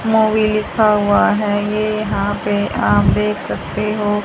Mobil लिखा हुआ है ये यहां पे आप देख सकते हो--